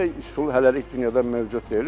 Belə üsul hələlik dünyada mövcud deyil.